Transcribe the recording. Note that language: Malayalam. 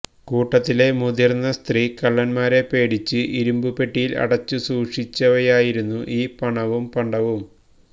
കൂട്ടത്തിലെ മുതിര്ന്ന സ്ത്രീ കള്ളന്മാരെ പേടിച്ച് ഇരുമ്പുപെട്ടിയില് അടച്ചു സൂക്ഷിച്ചവയായിരുന്നു ഈ പണവും പണ്ടവും